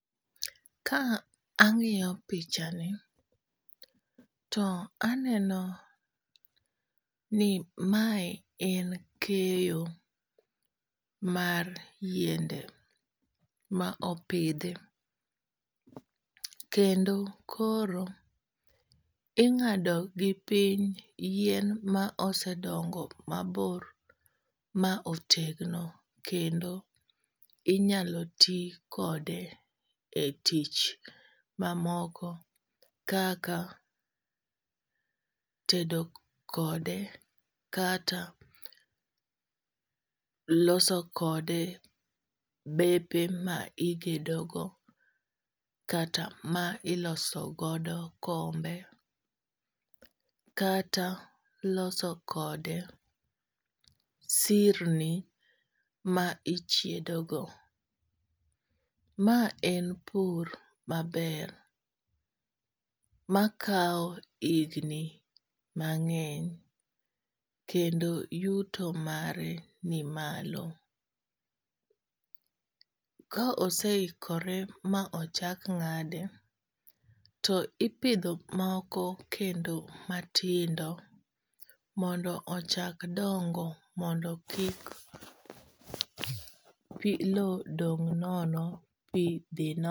Ka ang'iyo pichani to aneno ni mae en keyo mar yiende ma opidhi. Kendo koro ing'ado gi piny yien ma osedogo mabor ma otegno kendo inyalo ti kode e tich mamoko kaka tedo kode kata loso kode bepe ma igedo go kata ma ilosogodo kombe kata loso kode sirni ma ichiedo go. Ma en pur maber makaw higni mang'eny kendo yuto mare ni malo. Ka osehikore ma ochak ng'ade to ipidho moko kendo matindo mondo ochak dongo mondo kik low dong' nono pi dhi